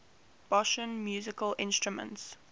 bosnian musical instruments